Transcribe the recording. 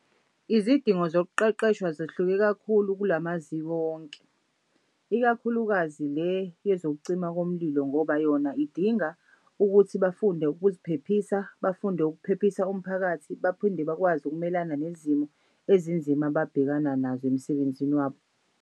Izidingo zokuqeqeshwa zehluke kakhulu kulamaziko wonke, ikakhulukazi le yezokucima komlilo ngoba yona idinga ukuthi bafunde ukuziphephisa, bafunde ukuphephisa umphakathi, baphinde bakwazi ukumelana nezimo ezinzima ababhekana nazo emsebenzini wabo.